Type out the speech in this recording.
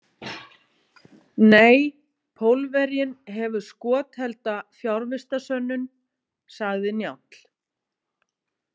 Nei, Pólverjinn hefur skothelda fjarvistarsönnun, sagði Njáll.